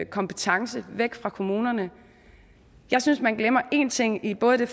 kompetence væk fra kommunerne jeg synes man glemmer en ting i både det